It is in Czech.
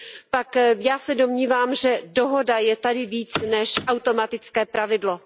pak já se domnívám, že dohoda je tady více než automatické pravidlo.